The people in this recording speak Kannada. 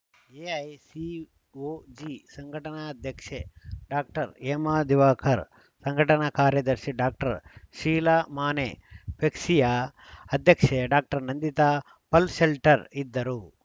ಎಐಸಿಒಜಿ ಸಂಘಟನಾ ಅಧ್ಯಕ್ಷೆ ಡಾಕ್ಟರ್ ಹೇಮಾ ದಿವಾಕರ್‌ ಸಂಘಟನಾ ಕಾರ್ಯದರ್ಶಿ ಡಾಕ್ಟರ್ ಶೀಲಾ ಮಾನೆ ಫೆಗ್ಸಿಯ ಅಧ್ಯಕ್ಷೆ ಡಾಕ್ಟರ್ ನಂದಿತಾ ಪಲ್‌ಶೆಲ್ಟರ್ ಇದ್ದರು